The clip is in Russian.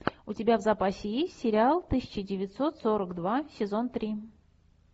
у тебя в запасе есть сериал тысяча девятьсот сорок два сезон три